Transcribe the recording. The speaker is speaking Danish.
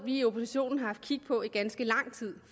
i oppositionen har haft kig på i ganske lang tid